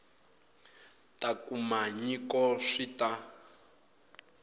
ta kuma nyiko swi ta